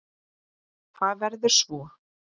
Hvað verður svo?